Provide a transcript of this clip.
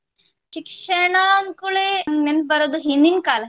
ಶಿಕ್ಷಣ ಅಂದ್ಕೂಡ್ಲೇ ನಂಗ್ ನೆನಪ್ ಬರುದು ಹಿಂದಿನ್ ಕಾಲ.